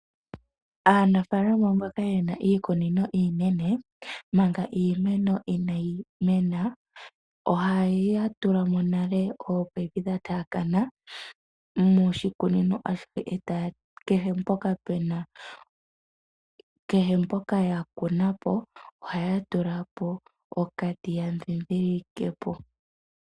Aanafaalama mboka yena iikunino iinene manga iimeno inayi mena ohaya tula mo nale oominino dhataakana moshikunino ashihe, kehe mpoka ya kuna po ohaya tula po okati yandhindhilikepo.